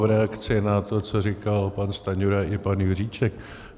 V reakci na to, co říkal pan Stanjura i pan Juříček.